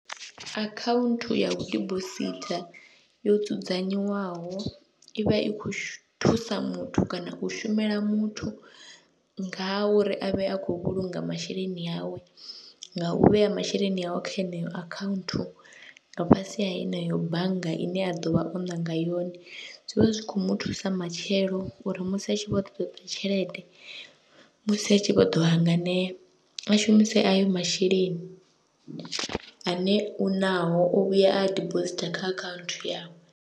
Akhaunthu ya u dibositha yo dzudzanyiwaho i vha i khou thusa muthu kana u shumela muthu nga ha uri a vhe a khou vhulunga masheleni awe, nga u vhea masheleni awe kha yeneyo akhaunthu nga fhasi ha yeneyo bannga ine a ḓo vha o ṋanga yone. Zwi vha zwi khou mu thusa matshelo uri musi a tshi vho ḓo ṱoḓa tshelede, musi a tshi vho ḓo hanganea, a shumise ayo masheleni ane u naho o vhuya a dibositha kha akhaunthu yawe.